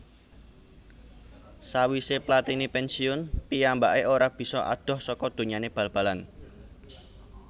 Sawisé Platini pènsiun piyambaké ora bisa adoh saka donyané bal balan